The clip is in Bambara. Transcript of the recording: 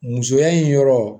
Musoya in yɔrɔ